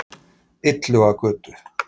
Illugagötu